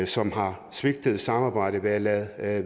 som har svigtet samarbejdet ved at undlade at